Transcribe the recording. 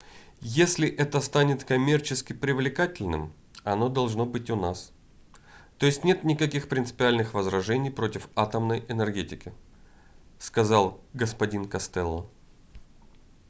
если это станет коммерчески привлекательным оно должно быть у нас то есть нет никаких принципиальных возражений против атомной энергетики - сказал г-н костелло